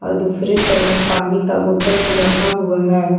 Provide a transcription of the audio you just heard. दूसरे तरफ पानी का बोतल भी रखा हुआ है।